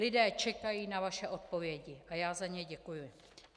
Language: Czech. Lidé čekají na vaše odpovědi a já za ně děkuji.